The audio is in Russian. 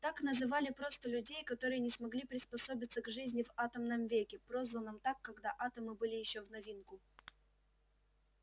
так называли просто людей которые не смогли приспособиться к жизни в атомном веке прозванном так когда атомы были ещё в новинку